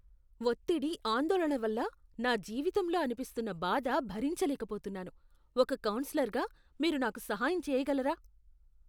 ఒత్తిడి, ఆందోళన వల్ల నా జీవితంలో అనిపిస్తున్న బాధ భరించలేకపోతున్నాను, ఒక కౌన్సిలర్గా, మీరు నాకు సహాయం చేయగలరా?